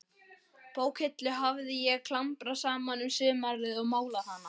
Bókahillu hafði ég klambrað saman um sumarið og málað hana.